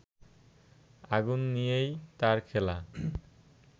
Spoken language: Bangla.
আগুন নিয়েই তাঁর খেলা